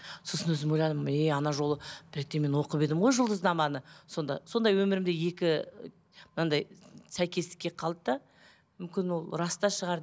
сосын өзім ойладым е анау жолы бір ретте мен оқып едім ғой жұлдызнаманы сонда сондай өмірімде екі мынандай сәйкестік келіп қалды да мүмкін ол рас та шығар